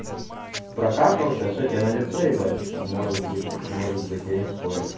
прокакался что тебе на лицо ебать может быть может быть я не спорю